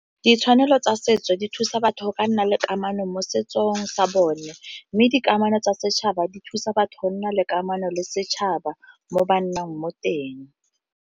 Ditshwanelo tsa setso di thusa batho go ka nna le kamano mo setsong sa bone, mme dikamano tsa setšhaba di thusa batho go nna le kamano le setšhaba mo ba nnang mo teng.